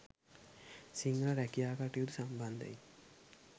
සිංහ රැකියා කටයුතු සම්බන්ධයෙන්